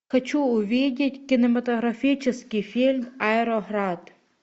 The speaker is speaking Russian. хочу увидеть кинематографический фильм аэроград